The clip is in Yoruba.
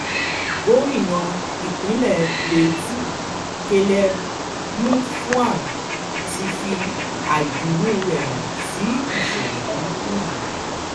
gomina ìpínlẹ̀ plateau caleb mutfwang ti fi àìdùnnú rẹ̀ hàn sí ìṣẹ̀lẹ̀ burúkú yìí